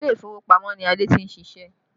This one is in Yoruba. Ilé ìfowópamọ́ ni ade tí ń siṣẹ́